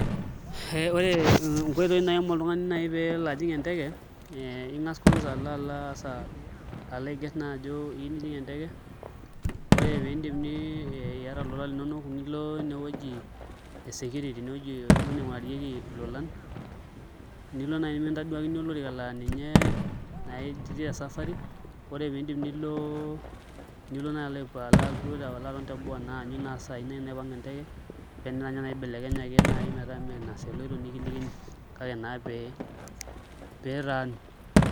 Ee ore nkoitoi naai naaim oltung'ani pee elo ajing' enteke aa ing'as kwanza alo aiagerr ajo iyieu nijing' enteke ore piidip iata ilolan linonok nilo inewueji e security inewueji duo ning'urarieki ilolan nilo naai mikintaduakini olorika laa ninye naa ijing' tesafari, ore piidip nilo naai alo aton teboo aanyu saai naai naipang' eneteke pee enetaa naai ibelekenye metaa meekure aa tina saa eloito nikilikini kake naa pee pee itaanu.